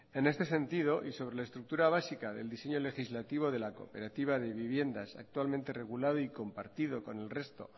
en este sentido y sobre la estructura básica del diseño legislativo de la cooperativa de viviendas actualmente regulado y compartido con el resto